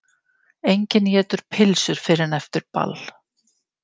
Enginn étur pylsur fyrr en eftir ball.